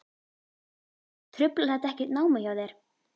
Sölvi: Truflar þetta ekkert námið hjá þér?